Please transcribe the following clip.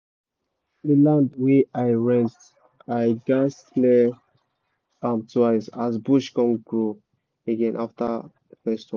the land wey i rent i gatz clear am twice as bush come grow again after first one